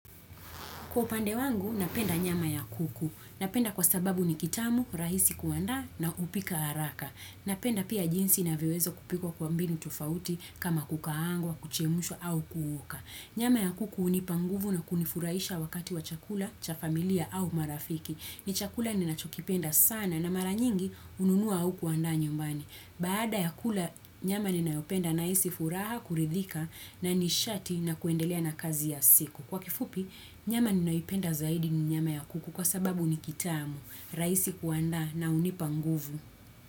Kwa upande wangu, napenda nyama ya kuku. Napenda kwa sababu ni kitamu, rahisi kuanda na hupika haraka. Napenda pia jinsi inavyowezwa kupikwa kwa mbinu tofauti kama kukaangwa, kuchemshwa au kuoka. Nyama ya kuku hunipa nguvu na kunifurahisha wakati wa chakula, cha familia au marafiki. Ni chakula ninachokipenda sana na mara nyingi hununua au kuandaa nyumbani. Baada ya kula, nyama ni nayopenda nahisi furaha, kuridhika na nishati na kuendelea na kazi ya siku. Kwa kifupi, nyama ninaipenda zaidi ni nyama ya kuku kwa sababu ni kitamu, rahisi kuandaa na hunipa nguvu.